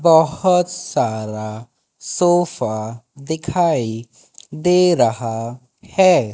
बहोत सारा सोफा दिखाई दे रहा है।